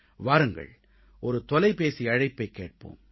வாருங்கள் ஒரு தொலைபேசி அழைப்பைக் கேட்போம்